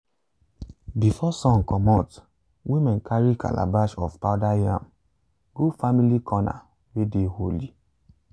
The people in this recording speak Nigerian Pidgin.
before sun comot women carry calabash of powder yam go family corner way dey holy.